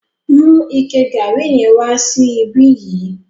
Mu ike garri yẹn wá sí ìbi yìí.